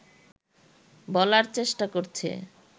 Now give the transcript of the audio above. বলার চেষ্টা করছে